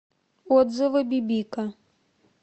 отзывы бибика